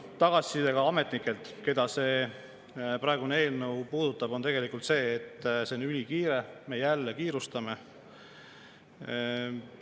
Tagasiside ka ametnikelt, keda see praegune eelnõu puudutab, on tegelikult see, et ülikiirelt, me jälle kiirustame.